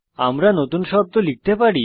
আমরা নতুন শব্দ লিখতে পারি